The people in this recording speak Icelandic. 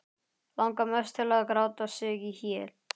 Langar mest til að gráta sig í hel.